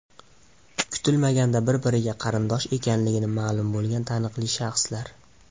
Kutilmaganda bir-biriga qarindosh ekanligi ma’lum bo‘lgan taniqli shaxslar .